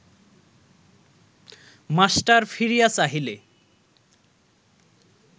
master ফিরিয়া চাহিলে